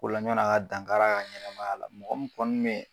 O la ɲan'a ka dan kar'a ka ɲɛnɛmaya la mɔgɔ min kɔni mɛ